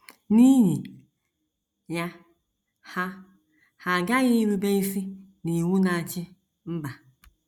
N’ihi ya, ha, ha aghaghị irube isi n’iwu na - achị mba.